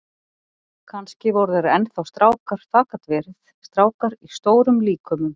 Kannski voru þeir enn þá strákar, það gat verið, strákar í stórum líkömum.